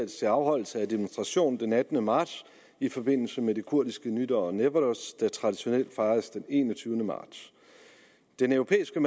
til afholdelse af demonstration den attende marts i forbindelse med det kurdiske nytår newroz der traditionelt fejres den enogtyvende marts den europæiske